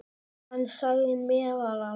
Hann sagði meðal annars